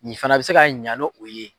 Nin fana bɛ se ka ɲa n' o ye.